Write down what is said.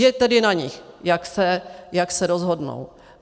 Je tedy na nich, jak se rozhodnou.